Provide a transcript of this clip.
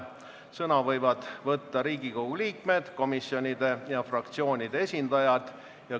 Sõna võivad võtta Riigikogu liikmed, komisjonide ja fraktsioonide esindajad .